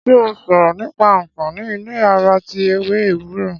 Ṣé ó sọ̀rọ̀ nípa anfaani ìlera ara tí ewé ewúro?